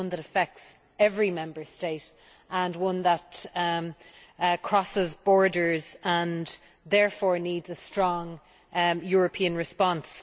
It is one that affects every Member State and one that crosses borders and therefore needs a strong European response.